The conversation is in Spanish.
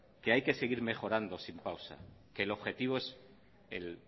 que hay que seguir mejorando sin pausa que el objetivo